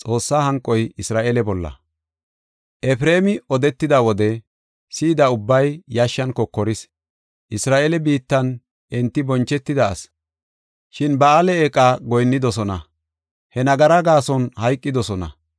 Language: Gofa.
Efreemi odetida wode si7ida ubbay yashshan kokoris; Isra7eele biittan enti bonchetida asi. Shin Ba7aale eeqa goyinnidosona; he nagara gaason hayqidosona.